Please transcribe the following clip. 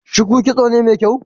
shuku kitso ne mai kyau?